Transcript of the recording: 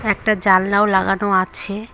একটা জালনাও লাগানো আছে।